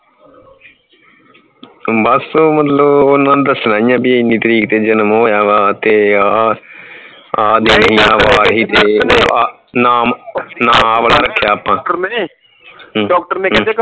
ਬਸ ਮਤਲਬ ਓਹਨਾਂ ਨੂੰ ਦੱਸਣਾ ਹੀ ਹੈ ਬੀ ਇਹਨੀ ਤਾਰੀਕ ਤੇ ਜਨਮ ਹੋਇਆ ਵਾ ਤੇ ਆ ਨਾਮ ਆ ਵਾਲਾ ਰੱਖਿਆ ਆਪਾ ਨੇ doctor ਨੇ ਕਹਿੰਦੇ ਇਕ